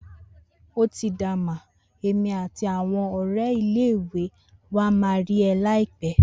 otida ma, èmi àti àwon òré ile iwe ni wa ma ri eh laipe